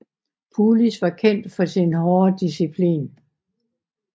Pulis var kendt for sin hårde disciplin